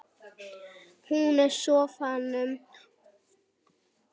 Hún í sófanum að bíða hans og hann frammi í eldhúsi að hita kaffi.